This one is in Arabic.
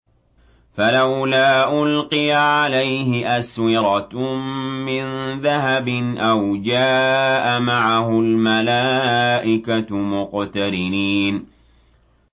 فَلَوْلَا أُلْقِيَ عَلَيْهِ أَسْوِرَةٌ مِّن ذَهَبٍ أَوْ جَاءَ مَعَهُ الْمَلَائِكَةُ مُقْتَرِنِينَ